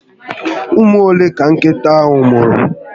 Ụmụ ole ka nkịta ahụ mụrụ?